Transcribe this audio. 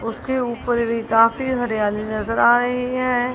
उसके ऊपर भी काफी हरियाली नजर आ रही है।